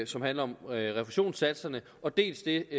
som handler om refusionssatserne dels det